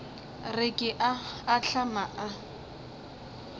re ke a ahlama a